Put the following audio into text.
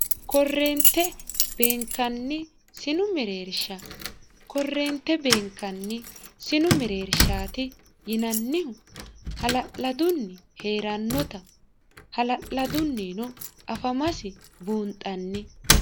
korreente beenkanni sinu mereersha korreente beenkanni sinu mereershaati yinannihu hala'ladunni hee'rannota hala'ladunnino afamasi buunxanni